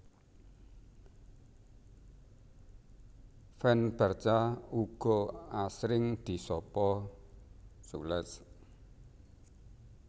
Fans Barca uga asring disapa culés